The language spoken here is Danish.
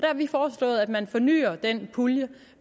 har vi foreslået at man fornyer den pulje